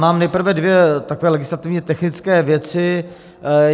Mám nejprve dvě takové legislativně technické věci.